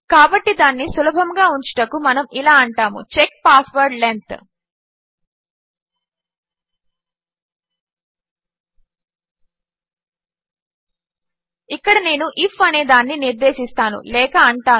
కాబట్టి దానిని సులభముగా ఉంచుటకు మనము ఇలా అంటాము చెక్ పాస్వర్డ్ లెంగ్త్ ఇక్కడ నేను ఐఎఫ్ అనేదానిని నిర్దేశిస్తాను లేక అంటాను